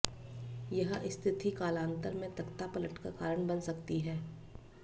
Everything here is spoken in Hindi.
यह स्थिति कालांतर में तख्तापलट का कारण बन सकती है